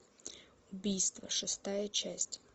убийство шестая часть